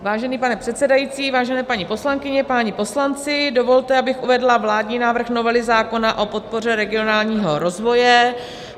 Vážený pane předsedající, vážené paní poslankyně, páni poslanci, dovolte, abych uvedla vládní návrh novely zákona o podpoře regionálního rozvoje.